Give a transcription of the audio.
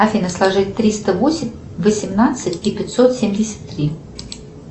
афина сложи триста восемь восемнадцать и пятьсот семьдесят три